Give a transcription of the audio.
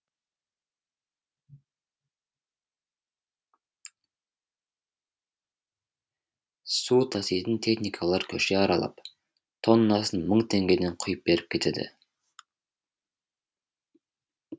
су таситын техникалар көше аралап тоннасын мың теңгеден құйып беріп кетеді